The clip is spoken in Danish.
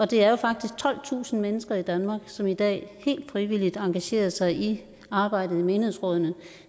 det er faktisk tolvtusind mennesker i danmark som i dag helt frivilligt engagerer sig i arbejdet i menighedsrådene